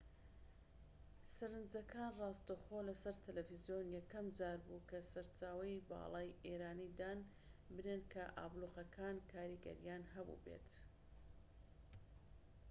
سەرنجەکان ڕاستەوخۆ لە سەر تەلەفزیۆن یەکەم جار بوو کە سەرچاوەی باڵای ئێرانی دان بنێن کە ئابلوقەکان کاریگەریان هەبوو بێت